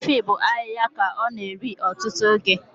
Efi bụ ahịhịa ka ọ na-eri ọtụtụ oge